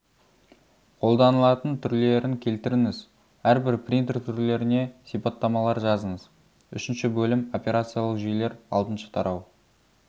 қолданылатын түрлерін келтіріңіз әрбір принтер түрлеріне сипаттамалар жазыңыз үшінші бөлім операциялық жүйелер алтыншы тарау